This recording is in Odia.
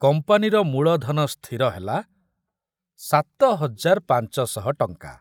କମ୍ପାନୀର ମୂଳଧନ ସ୍ଥିର ହେଲା ସାତ ହଜାର ପାଞ୍ଚ ଶହ ଟଙ୍କା।